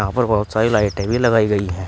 और बहोत सारी लाइटें भी लगाई गई हैं।